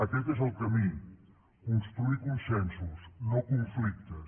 aquest és el camí construir consensos no conflictes